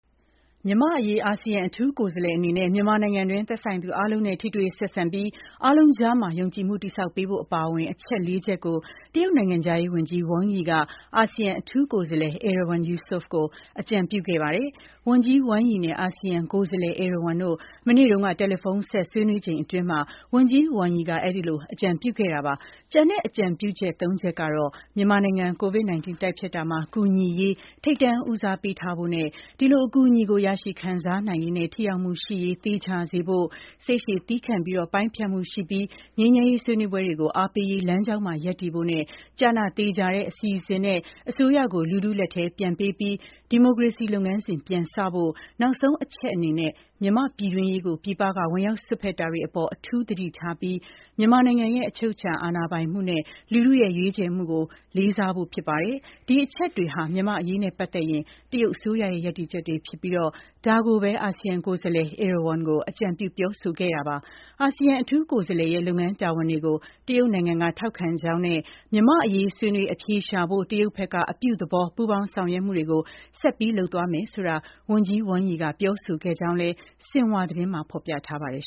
မြန်မာ့အရေး အာဆီယံအထူးကိုယ်စားလှယ်အနေနဲ့ မြန်မာနိုင်ငံတွင်း သက်ဆိုင်သူအားလုံးနဲ့ ထိတွေ့ဆက်ဆံပြီး အားလုံးကြားမှာ ယုံကြည်မှုတည်ဆောက်ပေးဖို့အပါအဝင် အချက်လေးချက်ကို တရုတ်နိုင်ငံခြားရေးဝန်ကြီး Wang Yi က အာဆီယံအထူးကိုယ်စားလှယ် Erywan Yusof ကို အကြံပြုခဲ့ပါတယ်။ Wang Yi နဲ့ Erywan တို့ မနေ့က တယ်လီဖုန်းဆက် ဆွေးနွေးချိန်အတွင်း ဝန်ကြီး Wang Yi က အဲဒီလို အကြံပြုခဲ့တာပါ။ ကျန်တဲ့အကြံပြုချက် သုံးချက်ကတော့ မြန်မာနိုင်ငံ COVID-19 တိုက်ဖျက်တာမှာ ကူညီရေး ထိပ်တန်းဦးစားပေးထားဖို့နဲ့ အဲဒီလိုအကူအညီကို ရရှိခံစားနိုင်ရေးနဲ့ ထိရောက်မှုရှိရေး သေချာစေဖို့၊ စိတ်ရှည် သည်းခံပြီး ပိုင်းဖြတ်မှုရှိပြီးတော့ ငြိမ်းချမ်းရေးဆွေးနွေးပွဲတွေကို အားပေးရေး လမ်းကြောင်းမှာ ရပ်တည်ဖို့နဲ့ ကျနသေချာတဲ့အစီအစဉ်နဲ့ အစိုးရကို လူထုလက်ထဲပြန်ပေးပြီး ဒီမိုကရေစီလုပ်ငန်းစဉ် ပြန်စတင်ဖို့၊ နောက်ဆုံးအချက်အနေနဲ့ မြန်မာ့ပြည်တွင်းရေးကို ပြည်ပက ဝင်ရောက်စွက်ဖက်တာတွေအပေါ် အထူးသတိထားပြီး မြန်မာနိုင်ငံရဲ့ အချုပ်အခြာအာဏာပိုင်မှုနဲ့ လူထုရဲ့ရွေးချယ်မှုတို့ကို လေးစားဖို့တို့ဖြစ်ပါတယ်။ ဒီအချက်တွေဟာ မြန်မာ့အရေးနဲ့ပတ်သက်ရင် တရုတ်အစိုးရရဲ့ ရပ်တည်ချက်တွေဖြစ်ပြီး ဒါတွေကိုပဲ Erywan ကို အကြံပြုပြောဆိုခဲ့တာပါ။ အာဆီယံ အထူးကိုယ်စားလှယ်ရဲ့ လုပ်ငန်းတာဝန်တွေကို တရုတ်နိုင်ငံက ထောက်ခံကြောင်းနဲ့ မြန်မာ့အရေး ဆွေးနွေး အဖြေရှာနိုင်ဖို့ တရုတ်ဘက်က အပြုသဘော ပူးပေါင်း ဆောင်ရွက်မှုတွေ ဆက်ပြီးလုပ်သွားမယ်ဆိုတာကို ဝန်ကြီးဝမ်ရီကပြောဆိုခဲ့ကြောင်းလည်း ဆင်ဟွာသတင်းမှာ ဖော်ပြထားပါတယ်